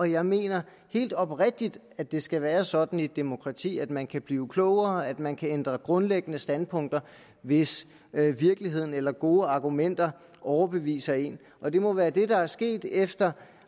jeg mener helt oprigtigt at det skal være sådan i et demokrati at man kan blive klogere at man kan ændre grundlæggende standpunkter hvis virkeligheden eller gode argumenter overbeviser en og det må være det der er sket efter